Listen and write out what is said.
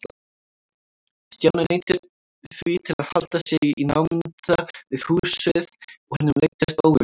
Stjáni neyddist því til að halda sig í námunda við húsið og honum leiddist ógurlega.